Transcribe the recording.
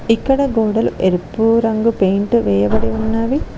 ఇక్కడ గోడలు ఎరుపు రంగు పెయింట్ వేయబడి ఉన్నది.